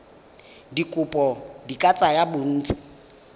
dikopo di ka tsaya bontsi